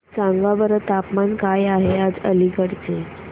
सांगा बरं तापमान काय आहे आज अलिगढ चे